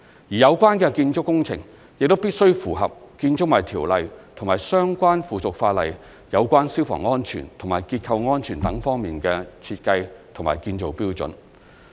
有關建築工程亦必須符合《建築物條例》及其相關附屬法例有關消防安全及結構安全等方面的設計和建造標準。